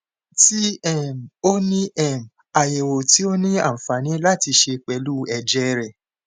ti um o ni um ayẹwo ti o ni anfani lati ṣe pẹlu ẹjẹ rẹ